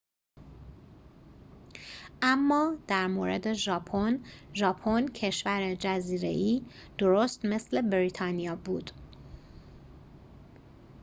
اما در مورد ژاپن ژاپن کشور جزیره‌ای درست مثل بریتانیا بود